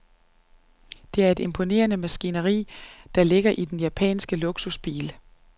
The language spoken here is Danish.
Det er et imponerende maskineri, der ligger i den japanske luksusbil.